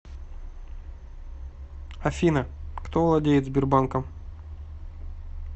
афина кто владеет сбербанком